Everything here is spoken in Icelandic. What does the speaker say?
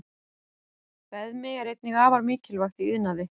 Beðmi er einnig afar mikilvægt í iðnaði.